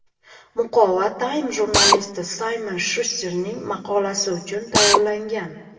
Muqova Time jurnalisti Saymon Shusterning maqolasi uchun tayyorlangan.